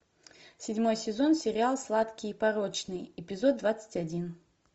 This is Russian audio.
седьмой сезон сериал сладкие и порочные эпизод двадцать один